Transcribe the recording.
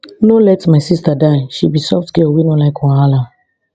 no let my sista die she be soft girl wey no like wahala